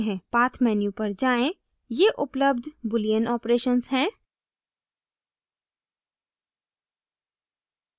path menu पर जाएँ ये उपलब्ध boolean operations हैं